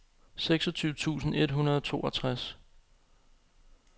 seksogtyve tusind et hundrede og toogtres